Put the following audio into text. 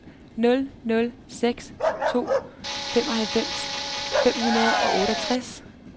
nul nul seks to femoghalvfems fem hundrede og otteogtres